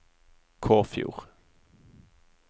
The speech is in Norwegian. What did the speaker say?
Kåfjord